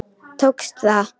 Tókst það.